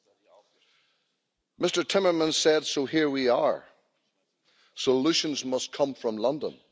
Mr Timmermans said, so here we are, solutions must come from London.